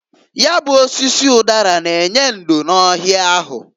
Ya bụ osisi ụdara n'enye ndo n'ohịa ahụ.